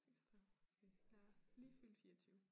46 okay jeg er lige fyldt 24